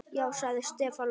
Já sagði Stefán lágt.